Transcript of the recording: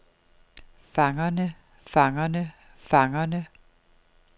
fangerne fangerne fangerne